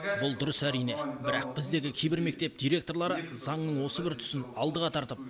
бұл дұрыс әрине бірақ біздегі кейбір мектеп директорлары заңның осы бір тұсын алдыға тартып